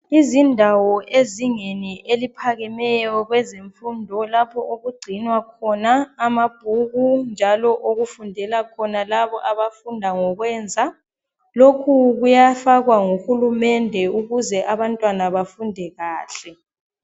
Izindawo ezingeni eliphakemeyo lazemfundo lapho okugcinwa khona amabhuku, njalo okufundela khona labo abafunda ngokwenza. Lokhu kuyafakwa ngohurumende ukuze abantwana befunde kahle.